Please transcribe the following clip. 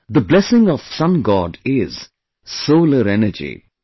This blessing of Sun God is 'Solar Energy'